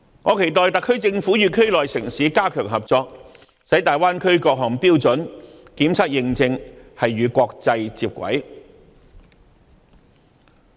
我期待特區政府與區內城市加強合作，使大灣區各項標準和檢測認證與國際接軌。